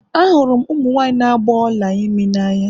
Ahụrụ m ụmụ nwanyị na agba Ọla imi n'anya